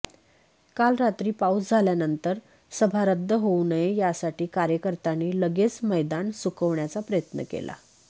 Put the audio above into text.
काल रात्री पाऊस झाल्यानंतर सभा रद्द होऊ नये यासाठी कार्यकर्त्यांनी लगेच मैदान सुकवण्याचा प्रयत्न केला